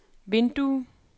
vindue